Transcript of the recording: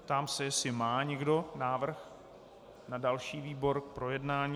Ptám se, jestli má někdo návrh na další výbor k projednání.